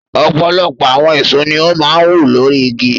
Ọ̀pọ̀lọpọ̀ àwọn èso ni ó máa ń wù lórí igi.